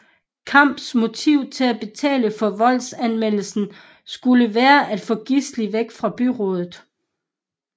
Kamps motiv til at betale for voldsanmeldelsen skulle være at få Gisli væk fra byrådet